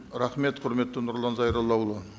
рахмет құрметті нұрлан зайроллаұлы